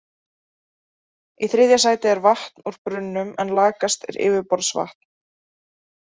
Í þriðja sæti er vatn úr brunnum en lakast er yfirborðsvatn.